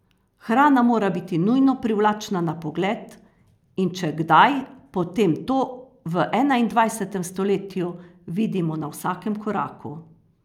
Hrana mora biti nujno privlačna na pogled, in če kdaj, potem to v enaindvajsetem stoletju vidimo na vsakem koraku.